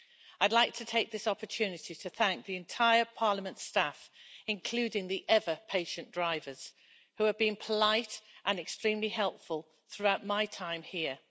I'd like to take this opportunity to thank the entire Parliament staff, including the ever patient drivers, who have been polite and extremely helpful throughout my time here.